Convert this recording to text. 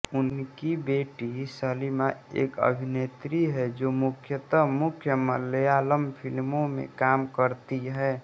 उनकी बेटी सलीमा एक अभिनेत्री है जो मुख्यतः मुख्य मलयालम फिल्मों में काम करती है